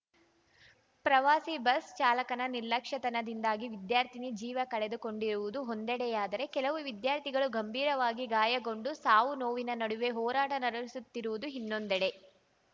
ಪ್ರವಾಸಿ ಬಸ್‌ ಚಾಲಕನ ನಿರ್ಲಕ್ಷ್ಯತನದಿಂದಾಗಿ ವಿದ್ಯಾರ್ಥಿನಿ ಜೀವ ಕಳೆದುಕೊಂಡಿರುವುದು ಒಂದೆಡೆಯಾದರೆ ಕೆಲವು ವಿದ್ಯಾರ್ಥಿಗಳು ಗಂಭೀರವಾಗಿ ಗಾಯಗೊಂಡು ಸಾವುನೋವಿನ ನಡುವೆ ಹೋರಾಟ ನಡೆಸುತ್ತಿರುವುದು ಇನ್ನೊಂದೆಡೆ